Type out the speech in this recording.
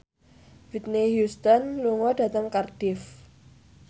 Whitney Houston lunga dhateng Cardiff